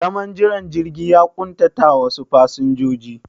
Zaman jiran jirgi ya ƙuntatawa wasu fasinjojin